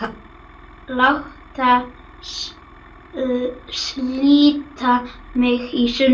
Láta slíta mig í sundur.